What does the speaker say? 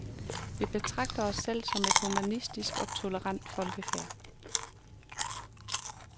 Vi betragter os selv som et humanistisk og tolerant folkefærd.